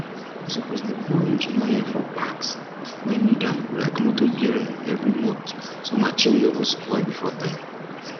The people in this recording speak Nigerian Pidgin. u suppose dey pour engine oil for parts wey need am like motor bearing every month so marchin no go spoil before time